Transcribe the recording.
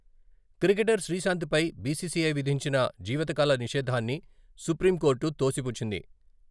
Cricketer శ్రీశాంత్‌పై BCCI విధించిన జీవితకాల నిషేధాన్ని సుప్రీంకోర్టు తోసిపుచ్చింది.